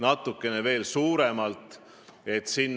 Ja on tore, kui teie tulete ka oma fiskaalpoliitilise analüüsiga appi.